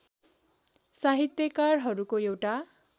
साहित्यकारहरूको एउटा